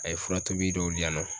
A ye fura tobi dɔw di yan nɔ.